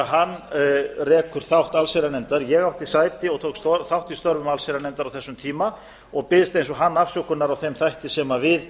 þegar hann rekur þátt allsherjarnefndar ég átti sæti og tók þátt í störfum allsherjarnefndar á ýmsum tíma og biðst eins og hann afsökunar á þeim þætti sem við